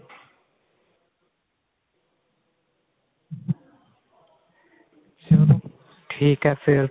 ਠੀਕ ਏ ਫ਼ੇਰ